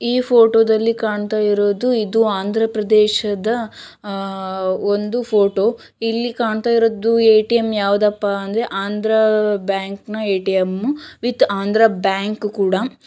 ಈ ಫೋಟೋದಲ್ಲಿ ಕಾಣ್ತಾ ಇರೋದು ಇದು ಆಂಧ್ರ ಪ್ರದೇಶದ ಅಹ್ ಒಂದು ಫೋಟೋ ಇಲ್ಲಿ ಕಾಣ್ತಾಇರೋದು ಎ_ ಟಿ_ ಎಮ್ ಯಾವ್ದಪ್ಪಾ ಅಂದ್ರೆ ಆಂಧ್ರ ಬ್ಯಾಂಕ್ ನ A_ T_ M with Andhra Bank ಕೂಡ